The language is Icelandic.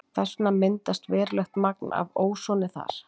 Þess vegna myndast verulegt magn af ósoni þar.